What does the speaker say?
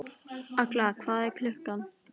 Agla, hvað er klukkan?